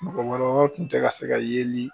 Mɔgɔkɔrɔbaw tun tɛ ka se ka yeli.